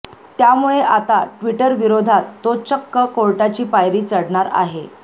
त्यामुळे आता ट्विटरविरोधात तो चक्क कोर्टाची पायरी चढणार आहे